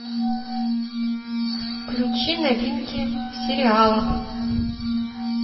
включи новинки в сериалах